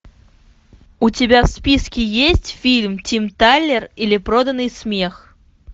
у тебя в списке есть фильм тим талер или проданный смех